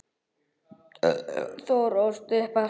Þórir ólst upp í Hvammi.